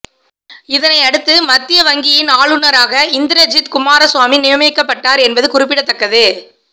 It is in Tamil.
இதனையடுத்து மத்திய வங்கியின் ஆளுநராக இந்திரஜித் குமாரசுவாமி நியமிக்கப்பட்டார் என்பது குறிப்பிடத்தக்கது